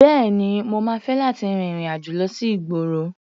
Bẹ́ẹ̀ni, mo máa fẹ́ láti rin ìrìn-àjò lọ sí ìgboro.